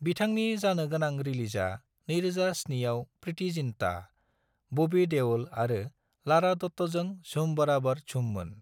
बिथांनि जानो गोनां रिलिजा 2007 आव प्रिति जिंटा, बबि देअल आरो लारा दत्ताजों झूम बाराबर झूममोन।